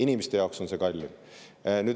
Inimeste jaoks on see kallim.